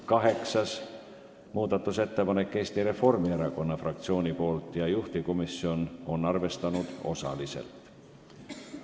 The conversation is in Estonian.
Kaheksas muudatusettepanek on Eesti Reformierakonna fraktsioonilt ja juhtivkomisjon on arvestanud osaliselt.